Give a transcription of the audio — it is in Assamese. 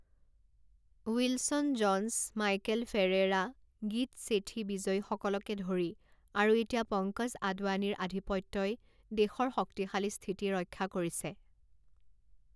Wilson Jones, Michael Ferreira, Geet Sethi বিজয়ীসকলকে ধৰি আৰু এতিয়া পংকজ আদৱানীৰ আধিপত্যই দেশৰ শক্তিশালী স্থিতি ৰক্ষা কৰিছে।